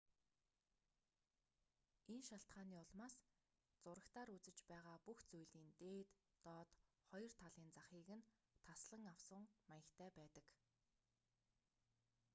энэ шалтгааны улмаас зурагтаар үзэж байгаа бүх зүйлийн дээд доод хоёр талын захыг нь таслан авсан маягтай байдаг